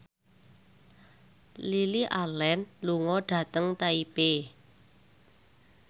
Lily Allen lunga dhateng Taipei